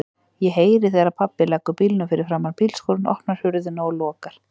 Ég heyri þegar pabbi leggur bílnum fyrir framan bílskúrinn, opnar hurðina og lokar.